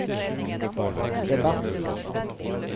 debatt